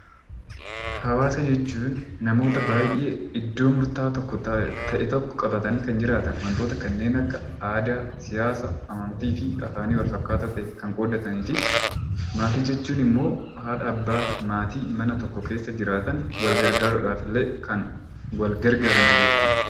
Hawaasa jechuun namoota baay'ee iddoo murtaa'aa ta'e tokko qabatanii kan jiraatan wantoota kanneen akka aadaa, siyaasa, amantii fi hiika wal fakkaataa ta'e kan qooddataniiti. Maatii jechuun immoo haadha, abbaaf maatii mana tokko keessa jiraatan wal gargaaruudhaafillee kan wal gargaaranidha jechuudha.